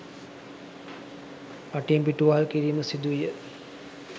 රටින් පිටුවහල් කිරීම සිදුවිය